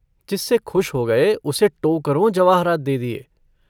जिससे खुश हो गये उसे टोकरों जवाहरात दे दिये।